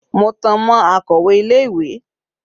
Mo tan mọ́ akọ̀wẹ́ ilé ìwé.